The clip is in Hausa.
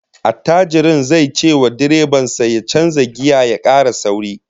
Attajirin zai cewa direban sa ya canza giya ya kara sauri